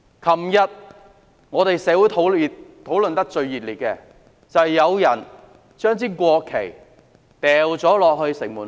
昨天，社會上討論得最熱烈的事件，就是有人將國旗掉進城門河......